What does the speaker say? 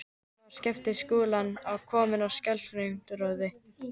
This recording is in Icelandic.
Þar var Skapti Skúlason kominn á skellinöðrunni.